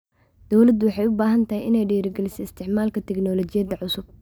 Dawladdu waxay u baahan tahay inay dhiirigeliso isticmaalka tignoolajiyada cusub.